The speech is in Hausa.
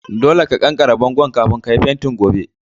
Dolle ka ƙanƙare bongon'kafin ka yi fentin gobe.